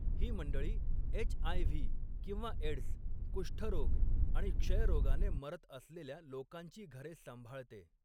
ही मंडळी एच.आय.व्ही. किंवा एड्स, कुष्ठरोग आणि क्षयरोगाने मरत असलेल्या लोकांची घरे सांभाळते.